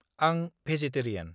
आं भेजेटेरियान।